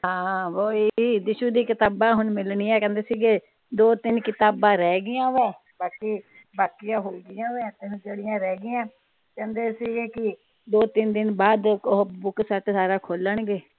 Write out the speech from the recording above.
ਹਾਂ ਵੋਈ ਦੀਸ਼ੁ ਦੀਆ ਕਿਤਾਬਾਂ ਹੁਣ ਮਿਲਣੀਆਂ ਕਹਿੰਦੇ ਸੀ ਗੇ ਦੋ ਤਿੰਨ ਕਿਤਾਬਾਂ ਰਹਿ ਗਈਆਂ ਵੇ ਬਾਕੀ ਬਾਕੀਆ ਹੋ ਗਈਆਂ ਵੇ ਹੁਣ ਜਿਹੜੀਆਂ ਰਹਿ ਗਈਆਂ ਕਹਿੰਦੇ ਸੀ ਗੇ ਕੀ ਦੋ ਤਿੰਨ ਦਿਨ ਬਾਅਦ ਉਹ ਬੁੱਕਸੈੱਟ ਸਾਰਾ ਖੋਲਣਗੇ।